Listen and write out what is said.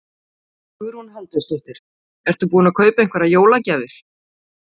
Hugrún Halldórsdóttir: Ertu búinn að kaupa einhverjar jólagjafir?